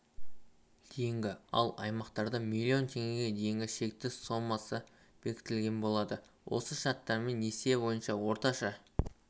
дейінгі ал аймақтарда млн теңгеге дейінгі шекті сомасы белгіленетін болады осы шарттармен несие бойынша орташа